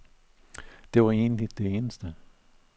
Det var egentlig det eneste.